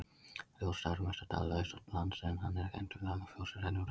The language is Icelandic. Fljótsdalur er mestur dala austanlands en hann er kenndur við Lagarfljót sem rennur um dalinn.